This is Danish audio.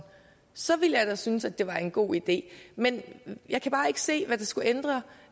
så ville jeg da synes det var en god idé men jeg kan bare ikke se hvad det skulle ændre